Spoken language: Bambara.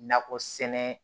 Nakɔ sɛnɛ